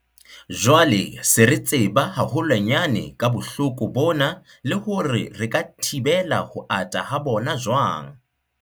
Jwale se re tseba haholwanyane ka bohloko bona le hore re ka thibela ho ata ha bona jwang.